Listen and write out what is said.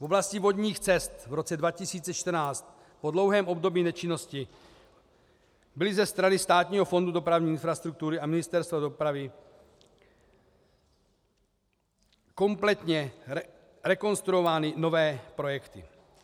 V oblasti vodních cest v roce 2014 po dlouhém období nečinnosti byly ze strany Státního fondu dopravní infrastruktury a Ministerstva dopravy kompletně rekonstruovány nové projekty.